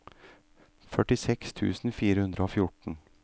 førtiseks tusen fire hundre og fjorten